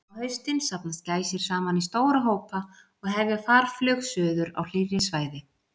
Á haustin safnast gæsir saman í stóra hópa og hefja farflug suður á hlýrri svæði.